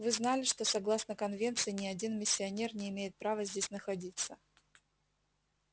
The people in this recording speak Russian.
вы знали что согласно конвенции ни один миссионер не имеет права здесь находиться